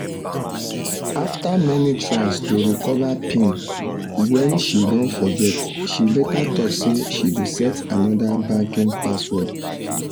after many tries to recover pin wen she don forget she later talk say she go set anodr banking password